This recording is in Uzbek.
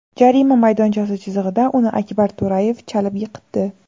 Jarima maydonchasi chizig‘ida uni Akbar To‘rayev chalib yiqitdi.